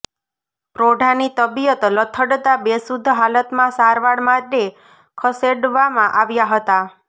પ્રૌઢાની તબીયત લથડતા બેશુઘ્ધ હાલતમાં સારવાર માટે ખસેડવામાં આવ્યા હતા